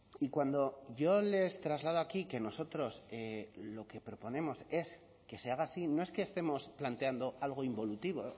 y cuando yo les traslado aquí que nosotros lo que proponemos es que se haga así no es que estemos planteando algo involutivo